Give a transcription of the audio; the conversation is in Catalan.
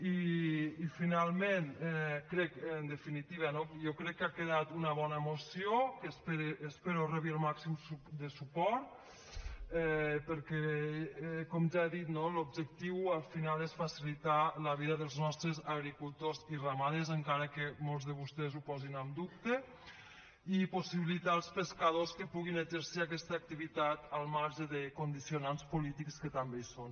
i finalment crec en definitiva no jo crec que ha quedat una bona moció que espero que rebi el màxim de suport perquè com ja he dit no l’objectiu al final és facilitar la vida dels nostres agricultors i ramaders encara que molts de vostès ho posin en dubte i possibilitar als pescadors que puguin exercir aquesta activitat al marge de condicionants polítics que també hi són